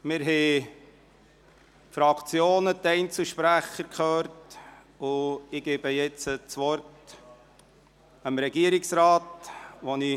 Wir haben die Fraktionen und die Einzelsprecher gehört, und ich gebe nun dem Regierungsrat das Wort.